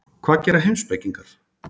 Hvað gera heimspekingar?